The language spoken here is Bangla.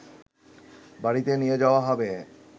বাড়িতে নিয়ে যাওয়া হবে